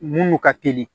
Munnu ka teli